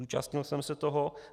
Zúčastnil jsem se toho.